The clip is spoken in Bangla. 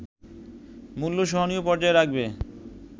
মূল্য সহনীয় পর্যায়ে রাখবে”